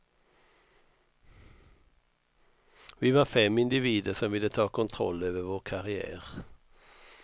Vi var fem individer som ville ta kontroll över vår karriär.